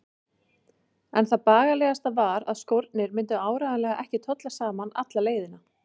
En það bagalegasta var að skórnir myndu áreiðanlega ekki tolla saman alla leiðina.